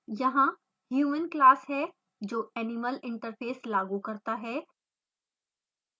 यहाँ human class है जो animal interface लागू करता है